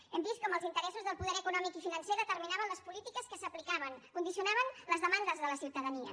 hem vist com els interessos del poder econòmic i financer determinaven les polítiques que s’aplicaven condicionaven les demandes de la ciutadania